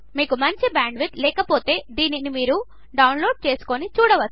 మీకు మంచి బ్యాండ్విడ్త్ లేకపోతే దీనిని మీరు డౌన్లోడ్ చేసుకుని చూడవచ్చు